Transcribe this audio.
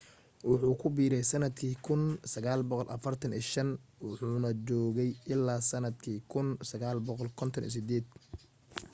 wuxuu ku biirey sanadkii 1945 wuxuuna joogay ilaa sanadkii 1958